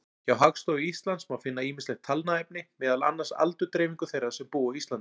Hjá Hagstofu Íslands má finna ýmislegt talnaefni, meðal annars aldursdreifingu þeirra sem búa á Íslandi.